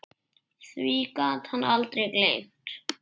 Því gat hann aldrei gleymt.